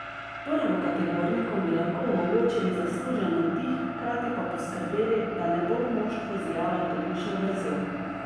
Prvokategornikom bi lahko omogočili zaslužen oddih, hkrati pa poskrbeli, da ne bo v moštvu zijala tolikšna vrzel.